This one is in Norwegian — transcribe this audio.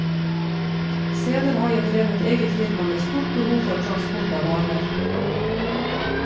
Senere har jeg drevet eget firma med stort behov for transport av varer.